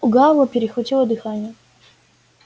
у гаала перехватило дыхание